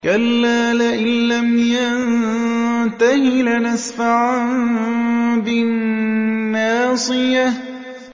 كَلَّا لَئِن لَّمْ يَنتَهِ لَنَسْفَعًا بِالنَّاصِيَةِ